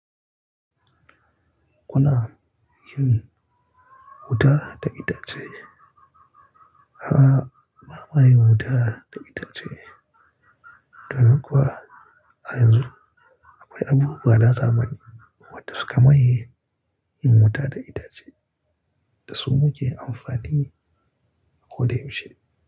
Kuna yin wuta da itace? A'a, ba ma yin wuta da itace, domin kuwa a yanzu akwai abubuwa na zamani wanda suka maye yin wuta da itace da su muke amfani a ko da yaushe.